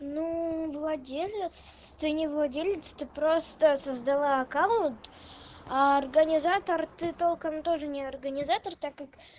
ну владелец ты не владелец ты просто создала аккаунт а организатор ты толком тоже не организатор так как